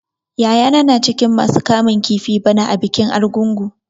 Yayana na cikin masu kamun kifi bana a bikin Argungun.